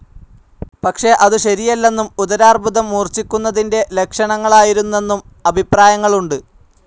പക്ഷെ അതു ശരിയല്ലെന്നും ഉദരാർബുദം മൂർഛിക്കുന്നതിന്റെ ലക്ഷണങ്ങളായിരുന്നെന്നും അഭിപ്രായങ്ങളുണ്ട്.